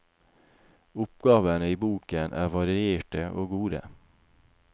Oppgavene i boken er varierte og gode.